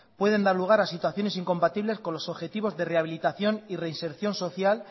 pueden dar lugar a situaciones incompartibles con los objetivos de rehabilitación y reinserción social